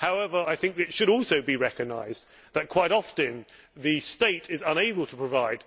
However, it should also be recognised that quite often the state is unable to provide